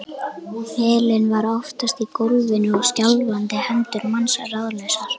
Pelinn var oftast í gólfinu og skjálfandi hendur manns ráðlausar.